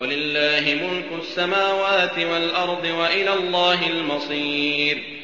وَلِلَّهِ مُلْكُ السَّمَاوَاتِ وَالْأَرْضِ ۖ وَإِلَى اللَّهِ الْمَصِيرُ